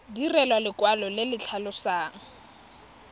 direlwa lekwalo le le tlhalosang